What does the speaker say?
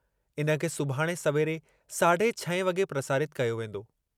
इन खे सुभाणे सवेरे साढ़े छहें वॻे प्रसारित कयो वेंदो।